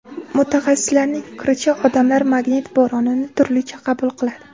Mutaxassislarning fikricha, odamlar magnit bo‘ronini turlicha qabul qiladi.